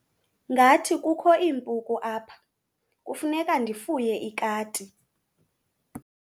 Ngathi kukho iimpuku apha, kufuneka ndifuye ikati.